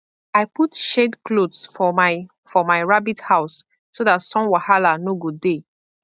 i put shade cloths for my for my rabbit house so that sun wahala no go dey